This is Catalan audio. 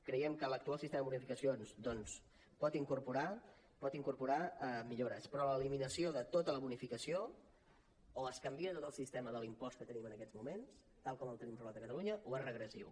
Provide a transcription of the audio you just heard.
creiem que l’actual sistema de bonificacions doncs pot incorporar millores però l’eliminació de tota la bonificació o es canvia tot el sistema de l’impost que tenim en aquests moments tal com el tenim regulat a catalunya o és regressiu